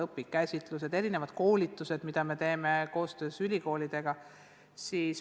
Neile korraldataksegi erinevaid koolitusi, mida me teeme koostöös ülikoolidega.